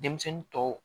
Denmisɛnnin tɔw